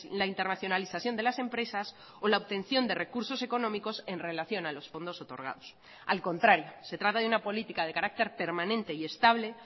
la internacionalización de las empresas o la obtención de recursos económicos en relación a los fondos otorgados al contrario se trata de una política de carácter permanente y estable